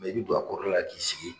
i bɛ don a koro la k'i sigi.